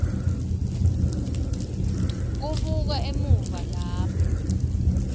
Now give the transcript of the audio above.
kubuka emuva lapho